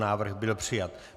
Návrh byl přijat.